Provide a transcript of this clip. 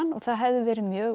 það hefði verið mjög